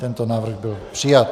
Tento návrh byl přijat.